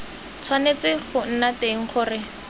tshwanetse go nna teng gore